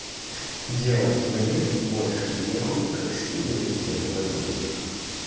делать мне больше не хуй как скидывать тебе такой видосик